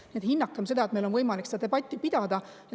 Nii et hinnakem seda, et meil on võimalik seda debatti pidada.